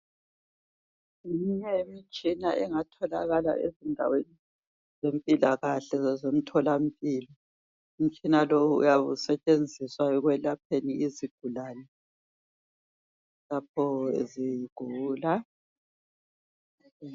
Ngeminye yemitshina engatholakala ezindaweni zempilakahle zasemtholampilo .Umtshina lowu uyabe usetshenziswa ekwelapheni izigulane lapho zigula .